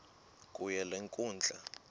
kuyo le nkundla